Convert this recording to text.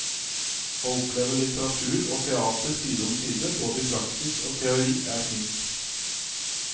Å oppleve litteratur og teater side om side både i praksis og teori er fint.